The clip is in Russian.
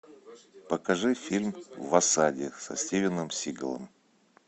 покажи фильм в осаде со стивеном сигалом